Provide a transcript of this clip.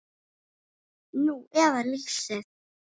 Nú eða lýsið.